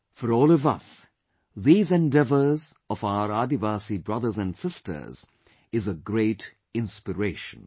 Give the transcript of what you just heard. For all of us, these endeavours of our Adivasi brothers and sisters is a great inspiration